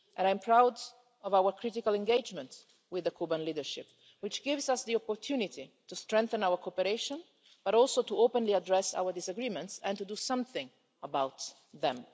And I'm proud of our critical engagement with the Cuban leadership, which gives us the opportunity to strengthen our cooperation but also to openly address our disagreements and to do something about them.